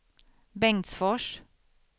Bengtsfors